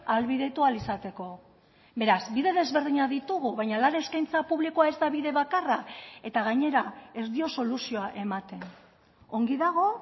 ahalbidetu ahal izateko beraz bide desberdinak ditugu baina lan eskaintza publikoa ez da bide bakarra eta gainera ez dio soluzioa ematen ongi dago